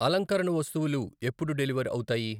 అలంకరణ వస్తువులు ఎప్పుడు డెలివర్ అవుతాయి?